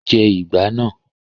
Jẹ ìgbá náà!